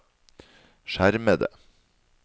skjermede